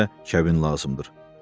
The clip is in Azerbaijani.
Bunun üçün də kəbin lazımdır.